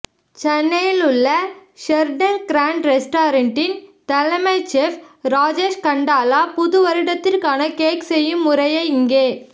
சென்னையிலுள்ள Sheraton Grand ரெஸார்ட்டின் தலைமை chef Rajesh Kandala புதுவருடத்திற்கான கேக் செய்யும் முறையை இங்கே